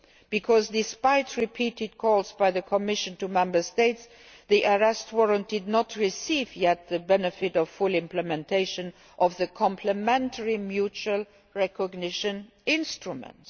Because, despite repeated calls by the Commission to Member States, the European Arrest Warrant has not yet received the benefit of full implementation of the complementary mutual recognition instruments.